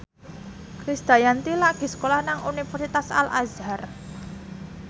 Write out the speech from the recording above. Krisdayanti lagi sekolah nang Universitas Al Azhar